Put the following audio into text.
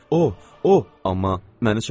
O, o, amma məni çağıran kimdir?